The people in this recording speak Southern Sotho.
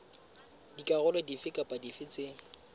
dikarolo dife kapa dife tse